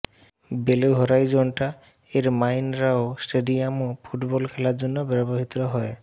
below Horizonte এর Mineirao স্টেডিয়ামও football খেলার জন্য ব্যবহৃত হয়